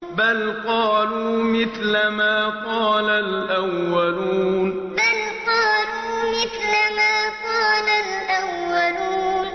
بَلْ قَالُوا مِثْلَ مَا قَالَ الْأَوَّلُونَ بَلْ قَالُوا مِثْلَ مَا قَالَ الْأَوَّلُونَ